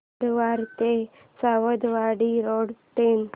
कारवार ते Sawantwadi road train